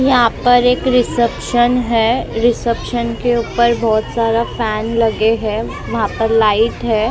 यहाँ पर एक रिसेप्शन है रिसेप्शन के ऊपर बहुत सारा फैन लगे है वहाँ पर लाइट है तीन --